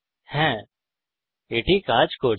হ্যা এটি কাজ করছে